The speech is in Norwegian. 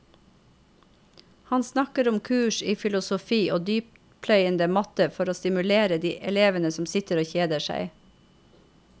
Han snakker om kurs i filosofi og dyptpløyende matte for å stimulere de elevene som sitter og kjeder seg.